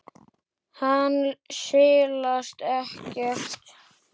Hann silast ekkert.